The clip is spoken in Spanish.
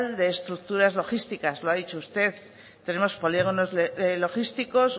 de estructuras logísticas lo ha dicho usted tenemos polígonos logísticos